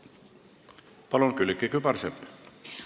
Palun, Külliki Kübarsepp!